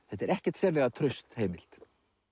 þetta er ekkert sérlega traust heimild